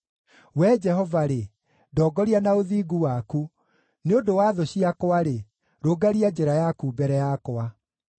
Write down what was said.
Wee Jehova-rĩ, ndongoria na ũthingu waku; nĩ ũndũ wa thũ ciakwa-rĩ, rũngaria njĩra yaku mbere yakwa.